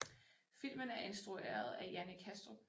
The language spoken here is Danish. Filmen er instrueret af Jannik Hastrup